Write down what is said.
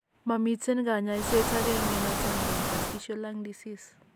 momiten kanyaiset agenge noton nebo interstitial lung disease